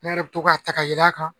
Ne yɛrɛ bɛ to k'a ta ka yɛlɛ a kan